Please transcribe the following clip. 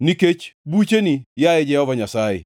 nikech bucheni, yaye Jehova Nyasaye.